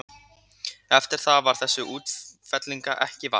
Eftir það varð þessara útfellinga ekki vart.